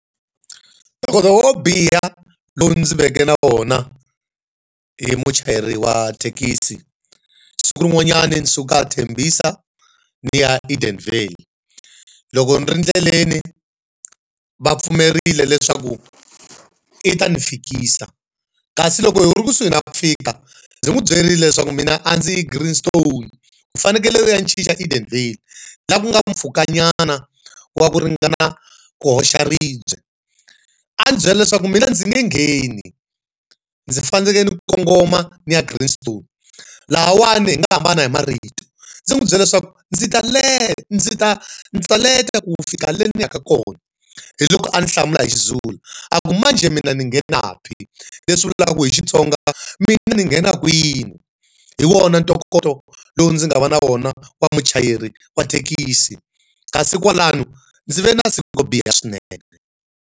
Ntokoto wo biha lowu ndzi veke na wona hi muchayeri wa thekisi. Siku rin'wanyani ni suka eThembisa ni ya Edenvale. Loko ni ri endleleni va pfumerile leswaku i ta ndzi fikisa kasi loko hi ri kusuhi na ku fika, ndzi n'wi byerile leswaku mina a ndzi yi Greenstone u fanekele u ya ni chicha Edenvale laha ku nga mpfhuka nyana wa ku ringana ku hoxa ribye. A ndzi byela leswaku mina ndzi nge ngheni, ndzi fanele ni kongoma ni ya Greenstone. Lahawani hi nga hambana hi marito, ndzi n'wi byela leswaku ndzi ta ndzi ta ndzi ta leta ku fika lena ni yaka kona. Hi loko a ni hlamula hi xiZulu a ku, manjhe mina ngingena phi? Leswi vulaka hi Xitsonga mina ni nghenaka kwini? Hi wona ntokoto lowu ndzi nga va na wona wa muchayeri wa thekisi, kasi kwalano ndzi ve na siku ro biha swinene.